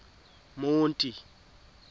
monti